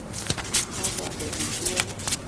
Kagoam amitwogik